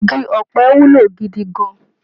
Igi ọ̀pẹ wúlò gidi gan-an.